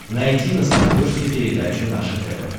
найти на смотрешке передачу наше тв